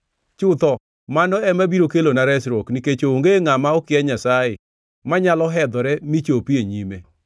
Chutho, mano ema biro kelona resruok nikech onge ngʼama okia Nyasaye, manyalo hedhore michopi e nyime.